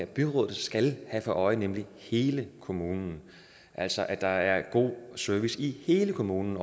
byrådet skal have for øje nemlig hele kommunen altså at der er god service i hele kommunen